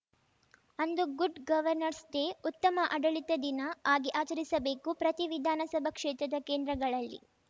ಅಂದು good governance day ಉತ್ತಮ ಆಡಳಿತ ದಿನ ಆಗಿ ಆಚರಿಸಬೇಕು ಪ್ರತಿ ವಿಧಾನಸಭಾ ಕ್ಷೇತ್ರದ ಕೇಂದ್ರಗಳಲ್ಲಿ